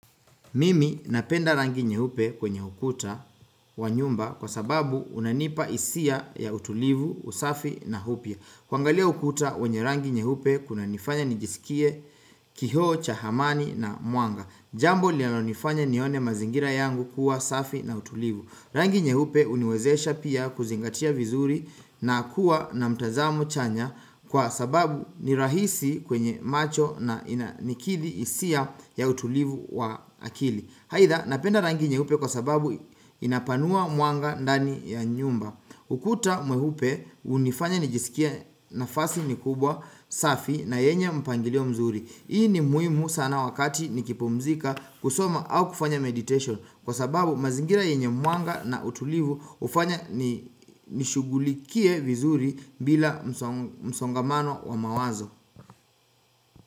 Mimi napenda rangi nyeupe kwenye ukuta wa nyumba kwa sababu unanipa hisia ya utulivu, usafi na upya. Kwangalia ukuta wenye rangi nyeupe kuna nifanya nijisikie kioo cha amani na mwanga. Jambo linalo nifanya nione mazingira yangu kuwa safi na tulivu. Rangi nyeupe huniwezesha pia kuzingatia vizuri na kuwa na mtazamo chanya Kwa sababu ni rahisi kwenye macho na nikili hisia ya utulivu wa akili aidha napenda rangi nyeupe kwa sababu inapanua mwanga dani ya nyumba ukuta mweupe hunifanya nijisikie nafasi ni kubwa safi na yenye mpangilio mzuri Hii ni muhimu sana wakati nikipumzika kusoma au kufanya meditation Kwa sababu mazingira yenye mwanga na utulivu hufanya nishugulikie vizuri bila msongamano wa mawazo.